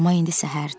Amma indi səhərdir.